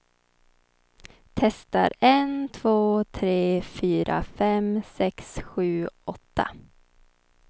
Testar en två tre fyra fem sex sju åtta.